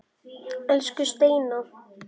Elsku Steina.